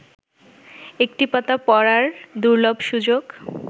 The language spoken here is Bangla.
একটি পাতা পড়ার দুর্লভ সুযোগ